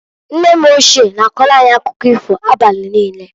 Nne m ochie na-akọlụ anyị akụkọ ifo abali niine.